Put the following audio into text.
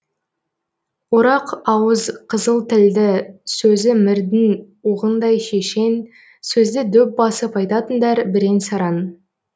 орақ ауыз қызыл тілді сөзі мірдің оғындай шешен сөзді дөп басып айтатындар бірен саран